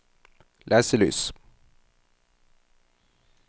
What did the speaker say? leselys